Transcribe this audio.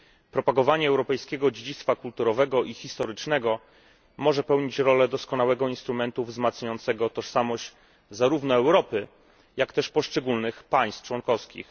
Propagowanie europejskiego dziedzictwa kulturowego i historycznego może pełnić rolę doskonałego instrumentu wzmacniającego tożsamość zarówno Europy, jak też poszczególnych państw członkowskich.